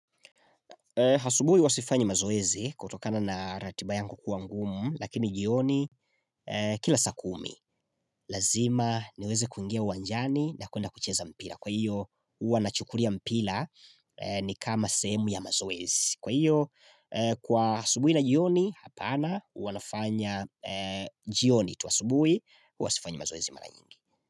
Asubuhi huwa sifanyi mazoezi kutokana na ratiba yangu kuwa ngumu lakini jioni kila saa kumi lazima niweze kuingia uwanjani na kuenda kucheza mpira. Kwa hiyo huwa nachukulia mpira ni kama sehemu ya mazoezi. Kwa hiyo kwa asubuhi na jioni hapana huwa nafanya jioni tu asubuhi huwa sifanyi mazoezi mara nyingi.